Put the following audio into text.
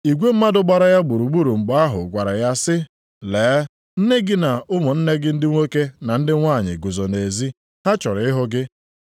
Igwe mmadụ gbara ya gburugburu mgbe ahụ gwara ya sị, “Lee, nne gị na ụmụnne gị ndị nwoke na ndị nwanyị guzo nʼezi. Ha chọrọ ịhụ gị.”